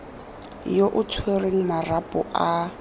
yo o tshwereng marapo a